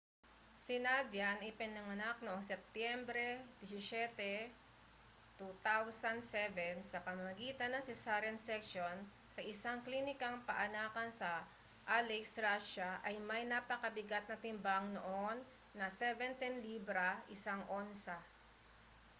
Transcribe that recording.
si nadia na ipinanganak noong setyembre 17 2007 sa pamamagitan ng cesarean section sa isang klinikang paanakan sa aleisk russia ay may napakabigat na timbang noon na 17 libra 1 onsa